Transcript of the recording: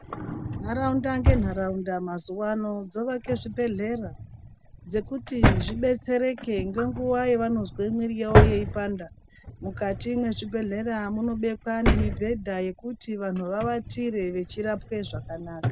Nharaunda ngenharaunda mazuwano dzovake zvibhehlera dzekuti zvibetsereke ngenguwa yavanozwe mwiri yavo yeipanda. Mukati mwezvibhehlera munobekwa nemibhedha yekuti vanhu vavatire vechirapwa zvakanaka.